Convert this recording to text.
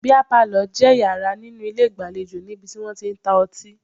Bíà palọ̀ jẹ́ yàrá nínú ilé ìgbàlejò níbi tí wọ́n tí ń ta ọtí